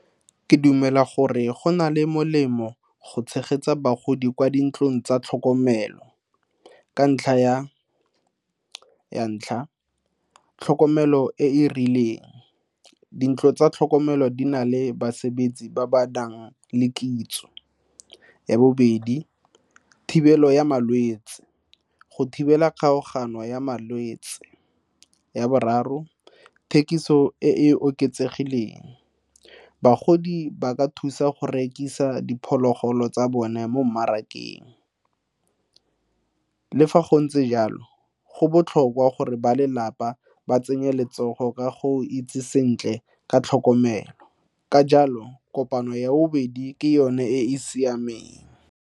Ke dumela gore go na le molemo go tshegetsa bagodi kwa dintlong tsa tlhokomelo ka ntlha ya, ya ntlha, tlhokomelo e e rileng dintlo tsa tlhokomelo di na le bus lebetse ba ba nang le kitso. Ya bobedi, thibelo ya malwetse go thibela kgaogano ya malwetse. Ya boraro, thekiso e e oketsegileng bagodi ba ka thusa go rekisa diphologolo tsa bone mo mmarakeng. Le fa go ntse jalo go botlhokwa gore ba lelapa ba tsenye letsogo ka go itse sentle ka tlhokomelo, ka jalo kopano ya bobedi ke yone e e siameng.